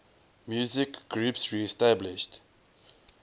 musical groups reestablished